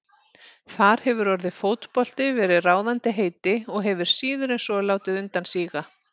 Þar hefur orðið fótbolti verið ráðandi heiti og hefur síður en svo látið undan síga.